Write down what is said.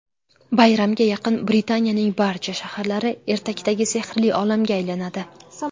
Bayramga yaqin Britaniyaning barcha shaharlari ertakdagi sehrli olamga aylanadi.